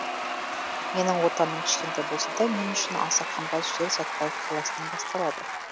менің отаным кішкентай болса да мен үшін аса қымбат жер сәтбаев қаласынан басталады